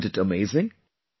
Isnt' it amazing